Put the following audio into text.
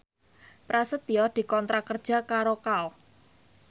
Prasetyo dikontrak kerja karo Kao